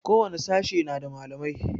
Ko wani sashe na da malamai